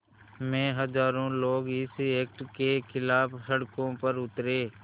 में हज़ारों लोग इस एक्ट के ख़िलाफ़ सड़कों पर उतरे